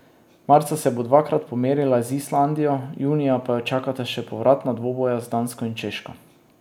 Marca se bo dvakrat pomerila z Islandijo, junija pa jo čakata še povratna dvoboja z Dansko in Češko.